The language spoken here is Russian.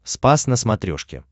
спас на смотрешке